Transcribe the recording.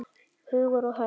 Hugur og hönd!